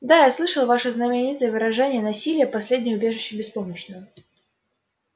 да я слышал ваше знаменитое выражение насилие последнее убежище беспомощного